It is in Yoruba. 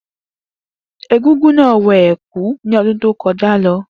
Egúngún náà wọ ẹ̀kú ní ọdún egúngún tí ó kọjá